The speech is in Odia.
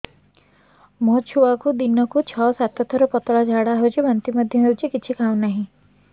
ମୋ ଛୁଆକୁ ଦିନକୁ ଛ ସାତ ଥର ପତଳା ଝାଡ଼ା ହେଉଛି ବାନ୍ତି ମଧ୍ୟ ହେଉଛି କିଛି ଖାଉ ନାହିଁ